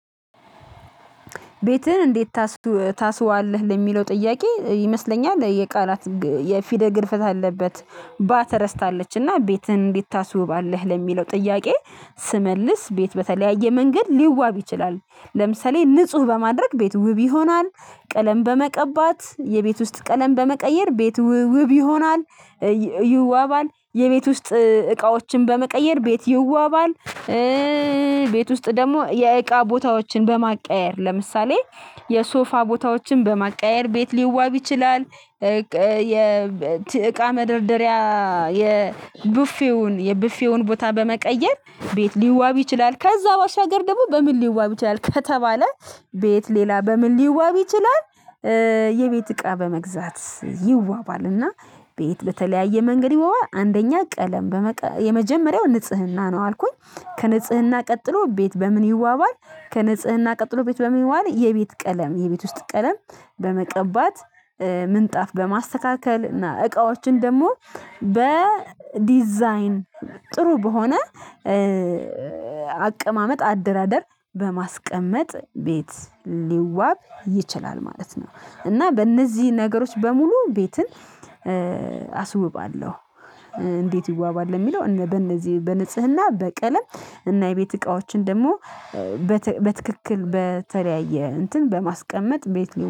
ቤትህን እንዴት ታስውባለህ ለሚለው ጥያቄ ይመስለኛል የቃላት የፊደል ግድፈት አለበት ባ ተረስታለች እና ቤትህን እንዴት ታስውባለህ ለሚለው ጥያቄ ስመልስ ቤት በተለያየ መንገድ ሊዋብ ይችላል። ለምሳሌ ንጹህ በማድረግ ቤት ውብ ይሆናል። ቀለም በመቀባት የቤት ውስጥ ቀለም በመቀየር ቤት ውብ ይሆናል ይዋባል የቤት ውስጥ እቃዎችን በመቀየር ቤት ይዋባል። ቤት ውስጥ ደግሞ የእቃ ቦታዎችን በማቀያየር ለምሳሌ የሶፋ ቦታዎችን በማቀያየር ቤት ሊዋብ ይችላል። እቃ መደርደሪያ የቡፌውን የቡፌውን ቦታ በመቀየር ቤት ሊዋብ ይችላል ከዛ በሻገር ደግሞ በምን ሊዋብ ይችላል ከተባለ ቤት ሌላ በምን ሊዋብ ይችላል? የቤት እቃ በመግዛት ይዋባል ና ቤት በተለያየ መንገድ ይዋባል። አንደኛ ቀለም በመቀ የመጀመሪያው ንጽህና ነው አልኩኝ ከንጽህና ቀጥሎ ቤት በምን ይዋባል ከንጽህና ቀጥሎ ቤት በምን በሚዋል የቤት ቀለም የቤት ውስጥ ቀለም በመቀባት ምንጣፍ በማስተካከል እና እቃዎችን ደግሞ በዲዛይን ጥሩ በሆነ አቀማመጥ አደራደር በማስቀመጥ ቤት ሊዋብ ይችላል ማለት ነው። እና በእነዚህ ነገሮች በሙሉ ቤትን አስውባለሁ። እንዴት ይዋባል ለሚለው እነ በእነዚህ በንጽህና በቀለም እና የቤት እቃዎችን ደግሞ በትክክል በተለያየ እንትን በማስቀመጥ ቤት ሊሆን